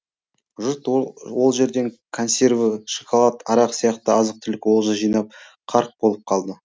жұрт ол жерден консерві шоколад арақ сияқты азық түлік олжа жинап қарқ болып қалды